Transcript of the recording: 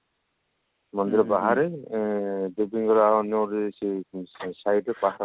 ମନ୍ଦିର ବାହାରେ ଉଁ ଦେବୀଙ୍କର ଅନ୍ୟ